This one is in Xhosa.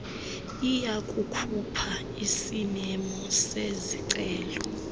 iyakukhupha isimemo sezicelo